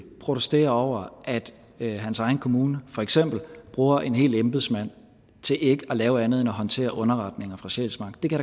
protesterer over at hans egen kommune for eksempel bruger en hel embedsmand til ikke at lave andet end at håndtere underretninger fra sjælsmark det kan